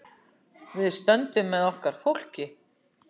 Við stöndum með okkar fólki.